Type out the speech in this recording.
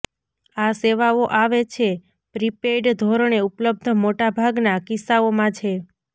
આ સેવાઓ આવે છે પ્રિપેઇડ ધોરણે ઉપલબ્ધ મોટા ભાગના કિસ્સાઓમાં છે